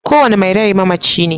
Kowane mai rai mamaci ne.